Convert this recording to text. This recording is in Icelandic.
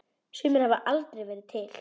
Sumir hafa aldrei verið til.